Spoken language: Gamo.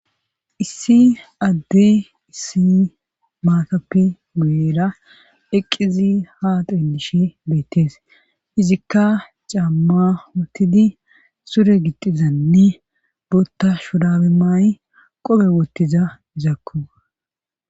Issi addey issi maakappe guyera eqqizi ha dondishe beettees izikka camma wotidi sure gixxizanne botta shudabe maayi qope wottiza izakku.